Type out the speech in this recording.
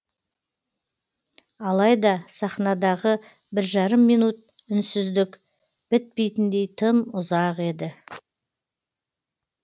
алайда сахнадағы бір жарым минут үнсіздік бітпейтіндей тым ұзақ еді